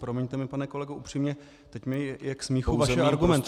Promiňte mi, pane kolego, upřímně, teď mi je k smíchu vaše argumentace.